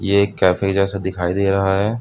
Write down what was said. ये एक कैफे जैसा दिखाई दे रहा है।